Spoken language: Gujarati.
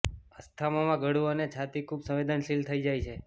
અસ્થમામાં ગળુ અને છાતી ખૂબ સંવેદનશીલ થઇ જાય છે